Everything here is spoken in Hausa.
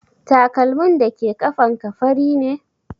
Takalmin dake ƙafan ka fari ne?